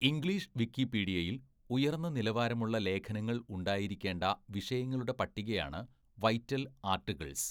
English വിക്കിപീഡിയയിൽ ഉയർന്ന നിലവാരമുള്ള ലേഖനങ്ങൾ ഉണ്ടായിരിക്കേണ്ട വിഷയങ്ങളുടെ പട്ടികയാണ് വൈറ്റൽ ആർട്ടിക്കിൾസ്.